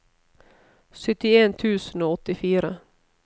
syttien tusen og åttifire